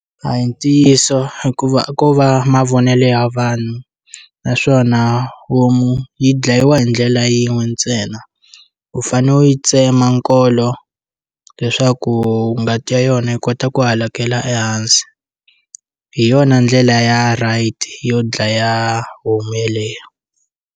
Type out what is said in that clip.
A hi ntiyiso hikuva a ko va mavonelo ya vanhu naswona homu yi dlayiwa hi ndlela yin'we ntsena, u fane u yi tsema nkolo leswaku ngati ya yona yi kota ku hakela ehansi, hi yona ndlela ya right yo dlaya homu yeleyo.